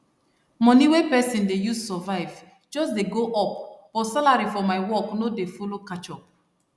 money wey pesin dey use survive just dey go up but salary for my work no dey follow catch up